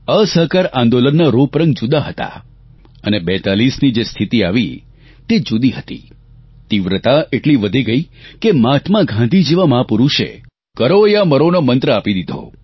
અસહકાર આંદોલનના રૂપરંગ જુદા હતાં અને 42ની જે સ્થિતિ આવી તે જુદી હતી તીવ્રતા એટલી વધી ગઇ કે મહાત્મા ગાંધી જેવા મહાપુરૂષે કરો યા મરોનો મંત્ર આપી દીધો